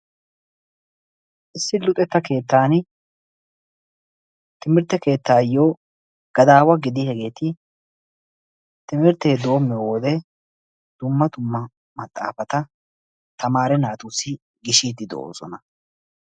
Issi luxetta keettaani luxetta keettaassi gadaawa gidiyageeti timirttee doommiyo wode dumma dumma maxaafata tamaare naatussi gishiiddi de"oosona.